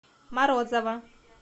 морозово